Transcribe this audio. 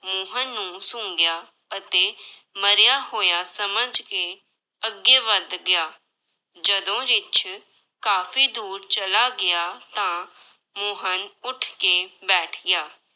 ਮੋਹਨ ਨੂੰ ਸੁੰਘਿਆ ਅਤੇ ਮਰਿਆ ਹੋਇਆ ਸਮਝ ਕੇ ਅੱਗੇ ਵੱਧ ਗਿਆ, ਜਦੋਂ ਰਿੱਛ ਕਾਫ਼ੀ ਦੂਰ ਚਲਾ ਗਿਆ, ਤਾਂ ਮੋਹਨ ਉੱਠ ਕੇ ਬੈਠ ਗਿਆ।